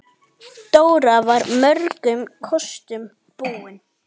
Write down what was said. Dóra var mörgum kostum búin.